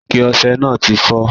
Ike ose náà ti fó